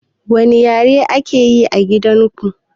Wani ƴare ake ƴi a gidan ku?